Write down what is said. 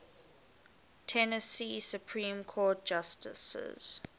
tennessee supreme court justices